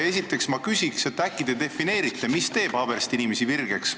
Esiteks ma küsin nii: äkki te defineerite, mis teeb Haabersti inimesi virgeks?